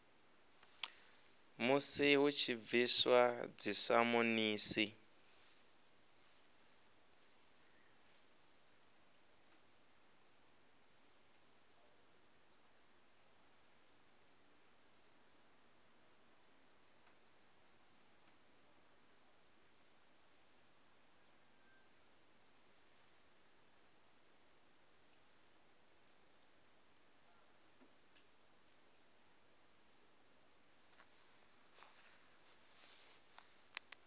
musi hu tshi bviswa dzisamonisi